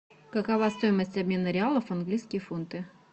какова стоимость обмена реалов в английские фунты